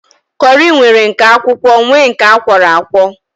Kọri nwere nke akwụkwọ nwee nke akwọro akwọ